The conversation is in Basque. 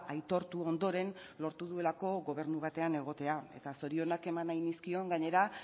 aitortu ondoren lortu duelako gobernu batean egotea eta zorionak eman nahi nizkion gainera